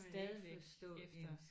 Stadigvæk efter